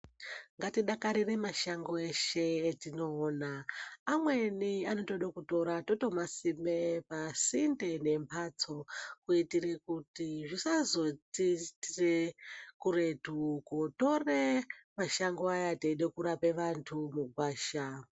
Ngati dakarire mashango eshe etino ona amweni anotode kutora toto masime pasinde ne mbatso ku itire kuti zvisa zoti itire kuretu kotere mashango aya teide kurape vantu mugwasha.